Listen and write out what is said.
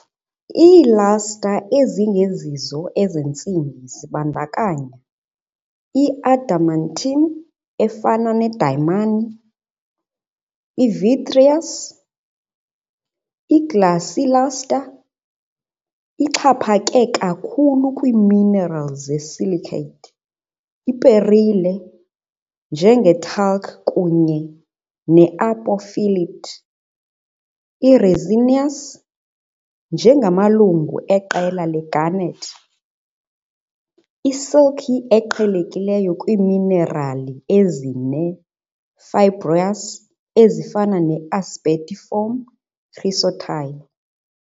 Iiluster ezingezizo ezentsimbi zibandakanya- i-adamantine, efana nedayimani, i-vitreous, i-glassy luster ixhaphake kakhulu kwiiminerali ze-silicate, iperile, njenge-talc kunye ne-apophyllite, i-resinous, njengamalungu eqela le-garnet, i-silky eqhelekileyo kwiiminerali ezine-fibrous ezifana ne-asbestiform chrysotile.